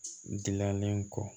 Dilalen kɔ